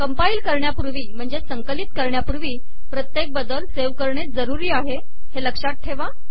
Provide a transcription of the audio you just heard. compile करण्यापूर्वी प्रत्येक बदल सेव्ह करणे जरूरी आहे हे लक्षात ठेवा